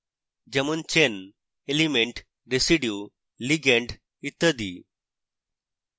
যেমন chain element residue ligand ইত্যাদি